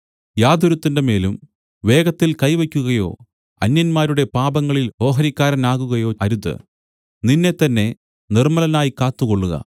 യാതൊരുത്തന്റെ മേലും വേഗത്തിൽ കൈ വയ്ക്കുകയോ അന്യന്മാരുടെ പാപങ്ങളിൽ ഓഹരിക്കാരനാകുകയോ അരുത് നിന്നെത്തന്നെ നിർമ്മലനായി കാത്തുകൊള്ളുക